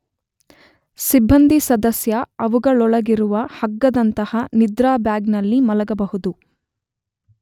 ಸಿಬ್ಬಂದಿ ಸದಸ್ಯ ಅವುಗಳೊಳಗಿರುವ ಹಗ್ಗದಂತಹ ನಿದ್ರಾ ಬ್ಯಾಗ್ ನಲ್ಲಿ ಮಲಗಬಹುದು.